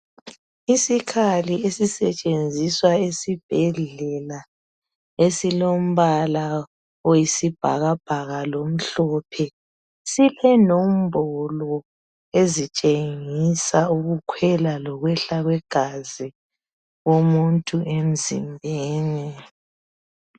Isikhali esisetshenziswa esibhedlela esilombala oyisibhakabhaka lomhlophe silenombolo ezitshengisa ukukhwela lokwehla kwegazi lomuntu emzimbeni.